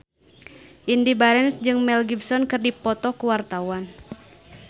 Indy Barens jeung Mel Gibson keur dipoto ku wartawan